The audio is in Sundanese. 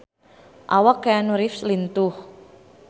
Awak Keanu Reeves lintuh